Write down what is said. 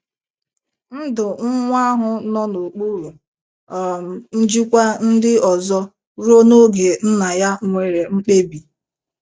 Ndụ nwa ahụ nọ n’okpuru um njikwa ndị ọzọ ruo n’oge nna ya nwere mkpebi.